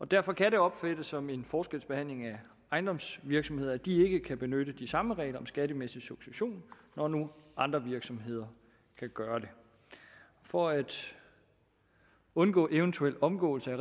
derfor kan det opfattes som en forskelsbehandling af ejendomsvirksomheder at de ikke kan benytte de samme regler om skattemæssig succession når nu andre virksomheder kan gøre det for at undgå eventuel omgåelse af